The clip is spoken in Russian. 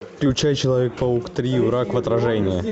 включай человек паук три враг в отражении